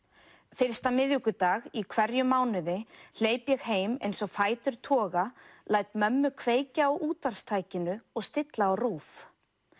fyrsta miðvikudag í hverjum mánuði hleyp ég heim eins og fætur toga læt mömmu kveikja á útvarpstækinu og stilli á RÚV